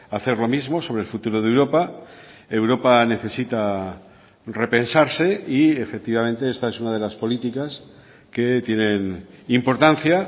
hacer lo mismo sobre el futuro de europa europa necesita repensarse y efectivamente esta es una de las políticas que tienen importancia